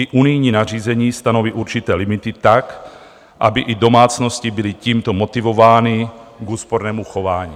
I unijní nařízení stanoví určité limity tak, aby i domácnosti byly tímto motivovány k úspornému chování.